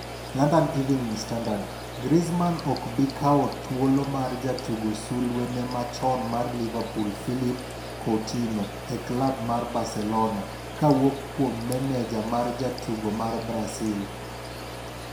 (London Evening Standard) Griezmann ok bi kawo thuolo mar jatugo sulwe no machon mar Liverpool Philippe Coutinho e klab mar Barcelona, kowuok kuom meneja mar jatugo mar Brasil.